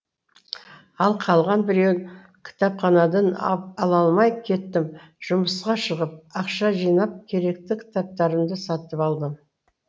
ал қалған біреуін кітапханадан ала лмай кеттім жұмысқа шығып ақша жинап керекті кітаптарымды сатып алдым